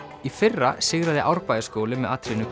í fyrra sigraði Árbæjarskóli með atriðinu